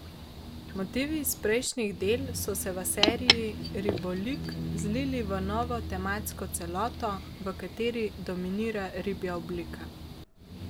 Motivi iz prejšnjih del so se v seriji Ribolik zlili v novo tematsko celoto, v kateri dominira ribja oblika.